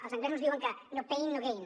els anglesos diuen que no pain no gain